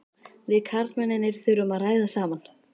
Við karlmennirnir þurfum að ræða saman.